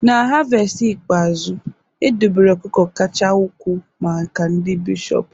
na havest ikpeazụ, edobere ọkụkọ kacha ukwuu maka ndị bishọp